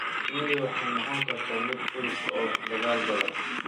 Shinnidu waxay noqon kartaa mid culus oo dagaal badan.